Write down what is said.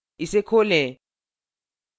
इसे खोलें